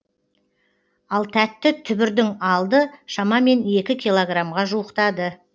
ал тәтті түбірдің алды шамамен екі килограммға жуықтады